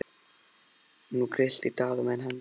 Nú grillti í Daða og menn hans.